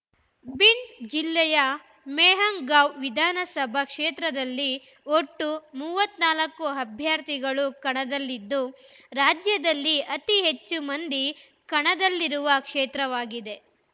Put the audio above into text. ಭಿಂಡ್‌ ಜಿಲ್ಲೆಯ ಮೇಹಗಾಂವ್‌ ವಿಧಾನಸಭಾ ಕ್ಷೇತ್ರದಲ್ಲಿ ಒಟ್ಟು ಮೂವತ್ತ್ ನಾಲ್ಕು ಅಭ್ಯರ್ಥಿಗಳು ಕಣದಲ್ಲಿದ್ದು ರಾಜ್ಯದಲ್ಲಿ ಅತಿಹೆಚ್ಚು ಮಂದಿ ಕಣದಲ್ಲಿರುವ ಕ್ಷೇತ್ರವಾಗಿದೆ